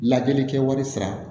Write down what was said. Lajɛli kɛwari sira